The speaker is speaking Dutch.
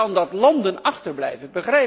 Je ziet dan dat landen achterblijven.